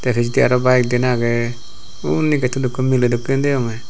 Resdi arow bayek diyen agey undi gettot ekko miley dokken deonge.